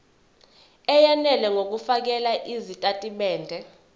eyenele ngokufakela izitatimende